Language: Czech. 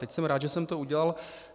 Teď jsem rád, že jsem to udělal.